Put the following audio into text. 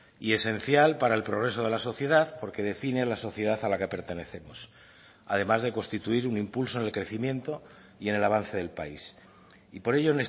y esencial para el progreso de la sociedad porque define la sociedad a la que pertenecemos además de constituir un impulso en el crecimiento y en el avance del país y por ello